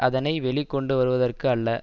அதனை வெளி கொண்டுவருவதற்கு அல்ல